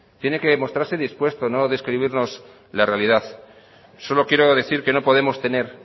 tiene que mostrarse dispuesto y no describirnos la realidad solo quiero decir que no podemos tener